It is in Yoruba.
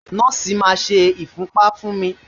Nọ́ọ̀sì máa ṣe ìfúnpá fún mi.